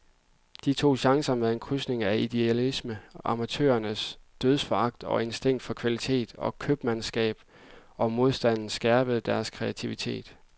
De tog chancer med en krydsning af idealisme, amatørernes dødsforagt og instinkt for kvalitet og købmandsskab, og modstanden skærpede deres kreativitet.